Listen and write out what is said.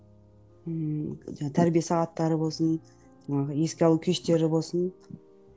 ммм тәрбие сағаттары болсын жаңағы еске алу кештері болсын